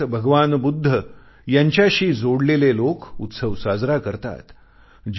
जगभरात भगवान बुद्ध यांच्याशी जोडलेले लोक उत्सव साजरा करतात